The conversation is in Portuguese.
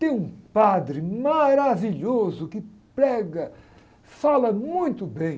Tem um padre maravilhoso que prega, fala muito bem.